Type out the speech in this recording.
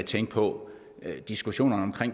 tænke på diskussionerne om